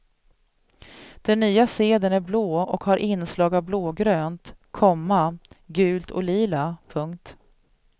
Den nya sedeln är blå och har inslag av blågrönt, komma gult och lila. punkt